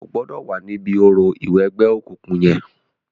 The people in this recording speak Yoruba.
O gbọ̀dọ̀ wá níbi orò ìwẹgbẹ́ okùnkùn yẹn.